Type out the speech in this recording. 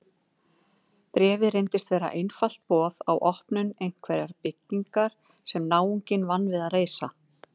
Bréfið reynist vera einfalt boð á opnun einhverrar byggingar sem náunginn vann við að reisa.